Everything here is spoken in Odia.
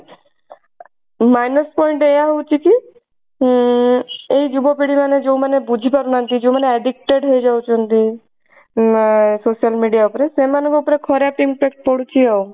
minus point ଏୟା ହଉଛି କି ଉଁ ଏଇ ଯୁବ ପିଢୀ ମାନେ ଯଉ ମାନେ ବୁଝି ପାରୁନାହାନ୍ତି ଯଉ ମାନେ addicted ହେଇ ଯାଉଛନ୍ତି ଆଁ social media ଉପରେ ସେଇମାନଙ୍କ ଉପରେ ଖରାପ impact ପଡୁଛି ଆଉ।